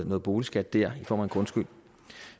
noget boligskat dér i form af grundskyld